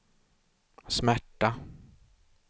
smärta